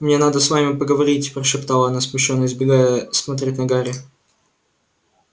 мне надо с вами поговорить прошептала она смущённо избегая смотреть на гарри